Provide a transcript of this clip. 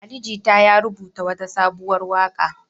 Ali Jita ya rubuta wata sabuwar waƙa.